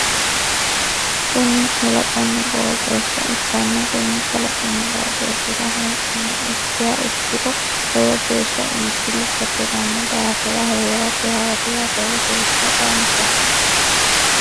Kuni kalaqonna qoxeessa ikkanna Konni kalaqinna qoxeessira hee'nanni ikkiha ikkiro lowo geesha iibbillu batiranno daafira heerate hawadira lowo geesha danchaho.